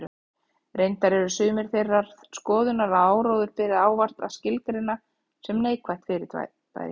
Reyndar eru sumir þeirrar skoðunar að áróður beri ávallt að skilgreina sem neikvætt fyrirbæri.